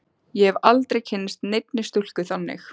Ég hef aldrei kynnst neinni stúlku þannig.